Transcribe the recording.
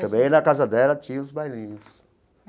Também na casa dela tinha os bailinhos.